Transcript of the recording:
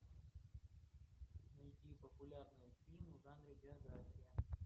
найди популярные фильмы в жанре биография